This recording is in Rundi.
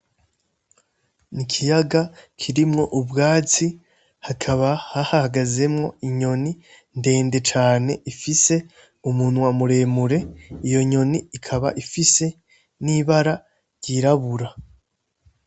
Ni ikiyaga kirimwo ubwatsi hakaba hahagazemwo inyoni ndende cane ifise umuntu wamuremure iyo nyoni ikaba ifise n'ibara ryirabura.